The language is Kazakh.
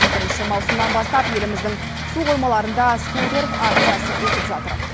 бірінші маусымнан бастап еліміздің су қоймаларында скутер акциясы өтіп жатыр